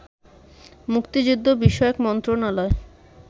মুক্তিযুদ্ধ বিষয়ক মন্ত্রণালয়